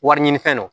Wari ɲini fɛn don